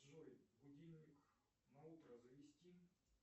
джой будильник на утро завести